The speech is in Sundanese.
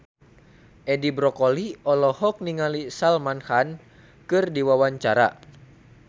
Edi Brokoli olohok ningali Salman Khan keur diwawancara